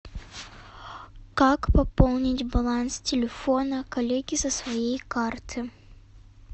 как пополнить баланс телефона коллеги со своей карты